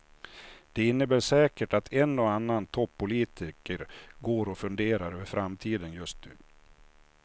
Det innebär säkert att en och annan toppolitiker går och funderar över framtiden just nu.